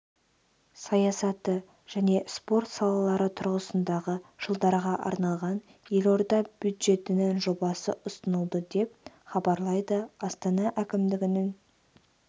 саясаты және спорт салалары тұрғысындағы жылдарға арналған елорда бюджетінің жобасы ұсынылды деп хабарлайды астана әкімдігінің